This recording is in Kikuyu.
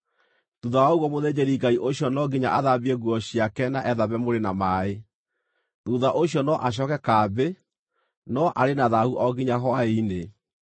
Thuutha wa ũguo mũthĩnjĩri-Ngai ũcio no nginya athambie nguo ciake na ethambe mwĩrĩ na maaĩ. Thuutha ũcio no acooke kambĩ, no arĩ na thaahu o nginya hwaĩ-inĩ.